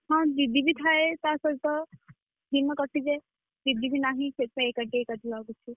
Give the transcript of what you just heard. ହଁ ଦିଦି ବି ଥାଏ ତାସହିତ, ଦିନ କଟି ଯାଏ। ଦିଦି ବି ନହିଁ ସେଇଠି ପାଇଁ ଏକୁଟିଆ ଏକୁଟିଆ ଲାଗୁଛି ଆଉ।